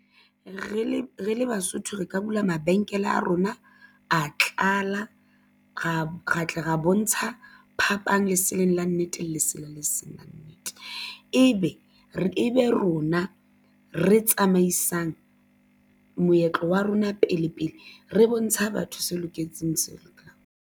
Re le re le Basotho re ka bula mabenkele a rona a tlala ra tla ra bontsha phapang leseleng la nnete lesela le seng la nnete ebe eba rona re tsamaisang moetlo wa rona pele pele re bontsha batho se loketseng le se sa lokang.